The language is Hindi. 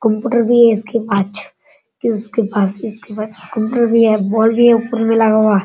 कंप्यूटर भी है इसके पाछ । किसके पास इसके पास कंप्यूटर भी है बॉल भी है ऊपर में लगा हुआ।